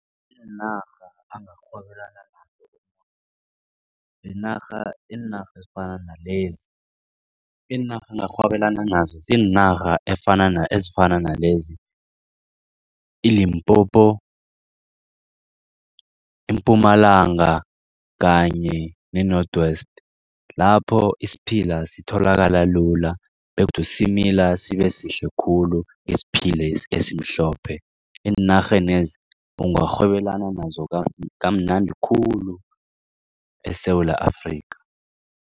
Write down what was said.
Iinarha angarhwebelana nazo iinarha iinarha ezifana nalezi iinarha angarhwebelana nazo ziinarha ezifana nalezi, i-Limpopo, iMpumalanga kanye ne-North West. Lapho isiphila sitholakala lula begodu simila sibe sihle khulu isiphilesi esimhlophe. Eenarhenezi ungarhwelana nazo kamnandi khulu eSewula Afrika.